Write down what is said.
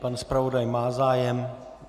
Pan zpravodaj má zájem?